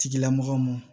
Tigilamɔgɔw mɔn